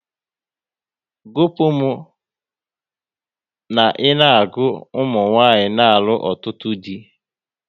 Gupu m na ị na-agụ ụmụnwanyị n'alụ ọtụtụ dị!